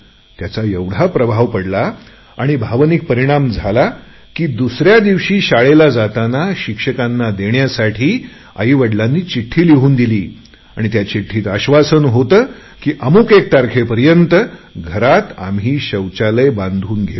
याचा एवढा प्रभाव पडला आणि भावनिक परिणाम झाला की दुसऱ्या दिवशी शाळेला जाताना शिक्षकांना देण्यासाठी आईवडिलांनी चिठ्ठी लिहून दिली आणि त्या चिठ्ठीत आश्वासन होते की अमूक एक तारखेपर्यंत घरात आम्ही शौचालय बनवून घेवू